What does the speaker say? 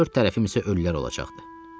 Dörd tərəfim isə ölülər olacaqdı.